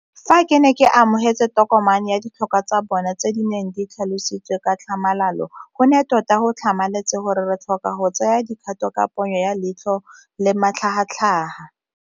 Fa ke ne ke amogela tokomane ya ditlhokwa tsa bona tse di neng di tlhalositswe ka tlhamalalo, go ne tota go tlhamaletse gore re tlhoka go tsaya dikgato ka ponyo ya leitlho le ka matlhagatlhaga.